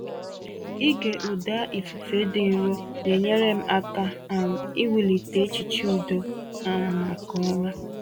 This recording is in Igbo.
Ịge ụda ifufe dị nro na-enyere m aka um iwulite echiche udo um maka ụra.